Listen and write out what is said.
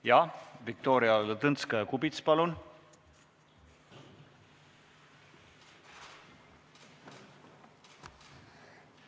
Jah, Viktoria Ladõnskaja-Kubits, palun!